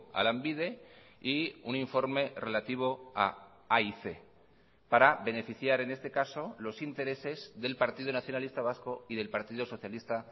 a lanbide y un informe relativo a aic para beneficiar en este caso los intereses del partido nacionalista vasco y del partido socialista